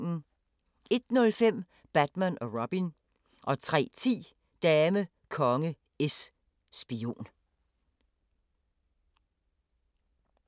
01:05: Batman & Robin 03:10: Dame, Konge, Es, Spion